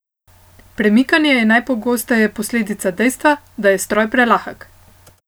Premikanje je najpogosteje posledica dejstva, da je stroj prelahek.